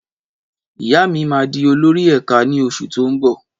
Ìyá mi máa di olórí ẹ̀ka ní oṣù tó ń bọ̀.